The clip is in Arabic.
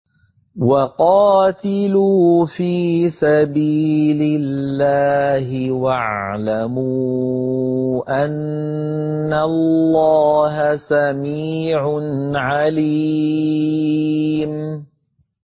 وَقَاتِلُوا فِي سَبِيلِ اللَّهِ وَاعْلَمُوا أَنَّ اللَّهَ سَمِيعٌ عَلِيمٌ